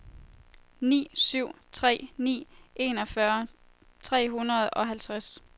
ni syv tre ni enogfyrre tre hundrede og halvtreds